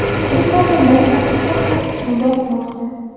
U hozirda sakkizta tuyaqushni boqmoqda.